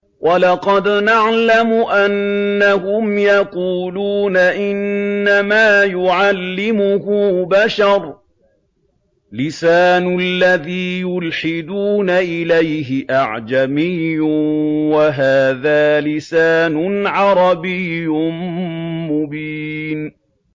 وَلَقَدْ نَعْلَمُ أَنَّهُمْ يَقُولُونَ إِنَّمَا يُعَلِّمُهُ بَشَرٌ ۗ لِّسَانُ الَّذِي يُلْحِدُونَ إِلَيْهِ أَعْجَمِيٌّ وَهَٰذَا لِسَانٌ عَرَبِيٌّ مُّبِينٌ